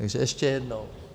Takže ještě jednou.